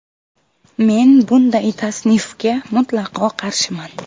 Men bunday tasnifga mutlaqo qarshiman.